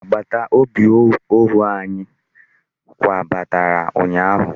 Agbataobi ọhụụ anyị kwabatara ụnyaahụ.